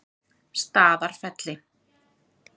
Staðarfelli